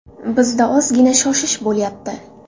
Bizda ozgina shoshish bo‘layapti.